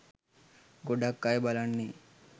ගොඩක් අය බලන්නේ